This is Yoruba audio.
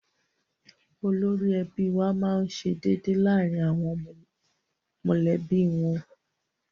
Olórí ẹbí wa máá ń ṣe déédéé láàrin àwọn mọ̀lẹ́bí wọn